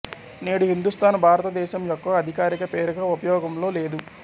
నేడు హిందూస్థాన్ భారతదేశం యొక్క అధికారిక పేరుగా ఉపయోగంలో లేదు